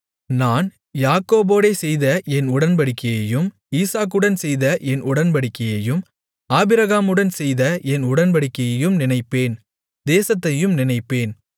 நான் யாக்கோபோடே செய்த என் உடன்படிக்கையையும் ஈசாக்குடன் செய்த என் உடன்படிக்கையையும் ஆபிரகாமுடன் செய்த என் உடன்படிக்கையையும் நினைப்பேன் தேசத்தையும் நினைப்பேன்